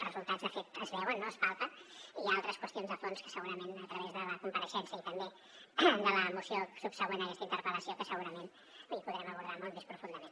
els resultats de fet es veuen no es palpen i hi ha altres qüestions de fons que segurament a través de la compareixença i també de la moció subsegüent a aquesta interpel·lació que segurament hi podrem abordar molt més profundament